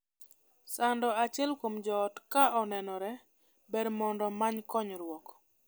Sando achiel kuom joot ka onenore, ber mondo many konyruok.